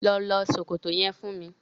Lọ lọ ṣòkòto yẹn fún mi.